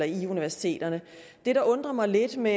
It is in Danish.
i universiteterne det der undrer mig lidt ved